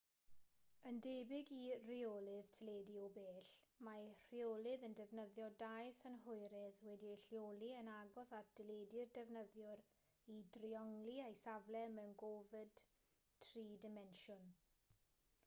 yn debyg i reolydd teledu o bell mae'r rheolydd yn defnyddio dau synhwyrydd wedi'u lleoli yn agos at deledu'r defnyddiwr i driongli ei safle mewn gofod tri dimensiwn